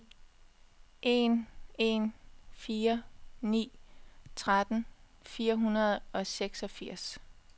en en fire ni tretten fire hundrede og seksogfirs